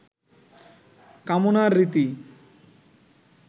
কামনার রীতি